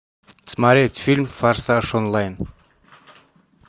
смотреть фильм форсаж онлайн